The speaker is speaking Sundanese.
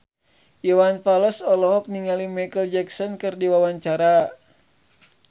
Iwan Fals olohok ningali Micheal Jackson keur diwawancara